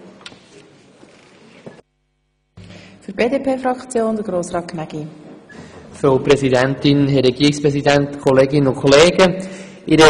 Jetzt bin ich als Sprecher für die BDP-Fraktion am Rednerpult und nicht als Mitmotionär.